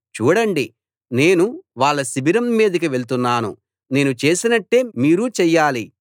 చూడండి నేను వాళ్ల శిబిరం మీదకి వెళ్తున్నాను నేను చేసినట్టే మీరూ చెయ్యాలి